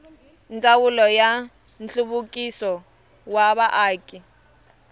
ndzawulo ya nhluvukiso wa vaaki